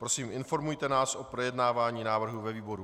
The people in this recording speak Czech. Prosím, informujte nás o projednávání návrhu ve výboru.